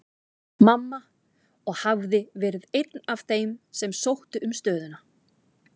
Mamma, og hafði verið einn af þeim sem sóttu um stöðuna.